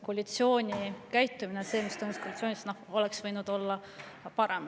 Koalitsiooni käitumine – see, mis toimus koalitsioonis – oleks võinud olla parem.